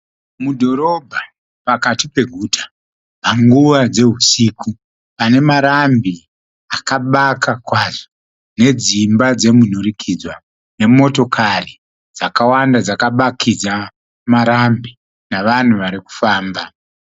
Mudhorobha pakati peguta, panguva dzehusiku. Pane marambi akabaka kwazvo, nedzimba dzemunhurikidzwa, nemotokari dzakawanda dzakabakidza marambi nevanhu varikufamba.